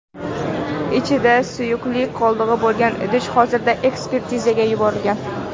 Ichida suyuqlik qoldig‘i bo‘lgan idish hozirda ekspertizaga yuborilgan.